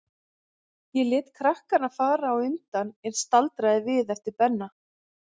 Ég lét krakkana fara á undan, en staldraði við eftir Benna.